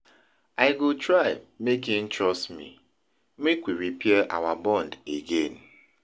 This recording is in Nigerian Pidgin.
I go try make im trust me make we repair our bond again.